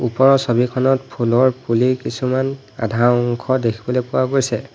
ওপৰৰ ছবিখনত ফুলৰ পুলি কিছুমান আধা অংশ দেখিবলৈ পোৱা গৈছে।